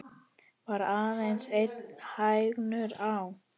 Var aðeins einn hængur á.